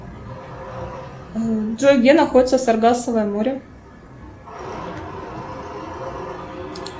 джой где находится саргасово море